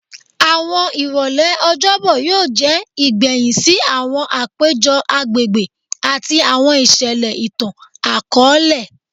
Awọn irọlẹ Ọjọbọ yoo jẹ igbẹhin si awọn apejọ agbegbe ati awọn iṣẹlẹ itan-akọọlẹ